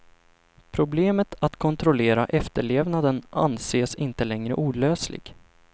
Problemet att kontrollera efterlevnaden anses inte längre olösligt.